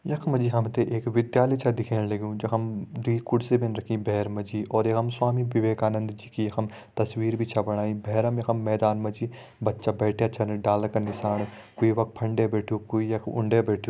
यखमा जी हमते एक विद्यालय च दिखेण लग्युं जखम दुइ कुर्सी बिन रखीं बेहर मजी और यखम स्वामी विवेकानंद जी की हम तस्वीर भी छ बणाई बेहरम यखम मैदान मजी बच्चा बैठ्यां छन डाला क निसाण कोई येफा फंडे बैठ्यूं कोई यख उंडे बैठ्यूं।